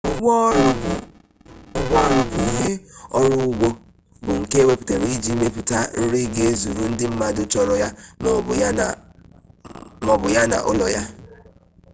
ugbo oru bu ihe oru ugbo bu nke eweputara iji meputa nri ga ezuru ndi mmadu choro ya ma obu ya na ulo ya